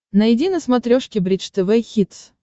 найди на смотрешке бридж тв хитс